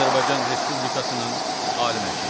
Azərbaycan Respublikasının Ali Məhkəməsi.